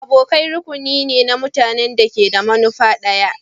Abokai rukuni na mutanen ne da ke da manufa ɗaya.